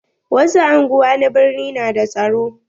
Wasu anguwa na birni na da tsaro.